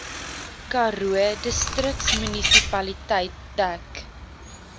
karoo distriksmunisipaliteit dek